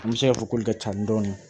Muso ka foko ka ca ni dɔɔni